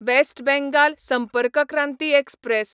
west Bengal Sampark Kranti express